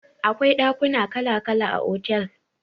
Akwai dakuna kala kala a otel